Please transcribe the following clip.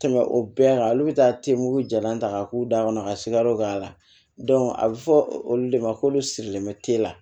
Tɛmɛ o bɛɛ kan olu be taa temuru jalan ta k'a k'u da kɔnɔ ka sikaro k'a la a bɛ fɔ olu de ma k'olu sirilen bɛ teliya